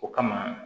O kama